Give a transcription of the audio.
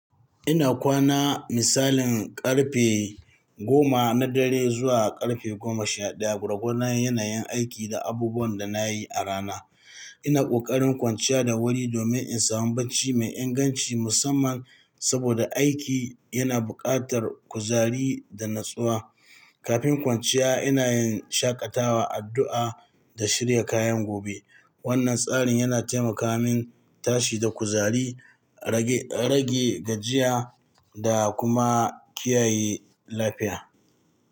Ina kwana misalin karfe goma na dare zuwa karfe goma sha ɗaya, gwargwadon yanayin aiki da abubuwan da na yi a rana. Ina ƙoƙarin kwanciya da wuri domin in samu barci mai inganci, musamman saboda aiki yana buƙatar kuzari da natsuwa. Kafin kwanciya, ina yin shaƙatawa, addu'a, da shirya kayan gobe. Wannan tsarin yana taimaka min tashi da kuzari, rage gajiya da kuma kiyaye lafiya.